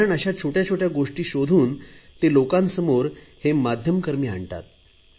कारण अशा छोटया छोटया गोष्टी शोधून ते लोकांसमोर हे मध्यकर्मी आणतात